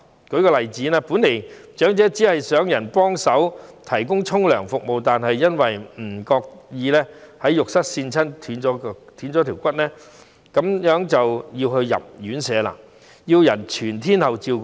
舉例來說，長者本來可能只需要有人幫忙提供洗澡服務，但由於自己不小心在浴室滑倒撞斷腳骨，結果便需要入住院舍，由別人全天候照顧。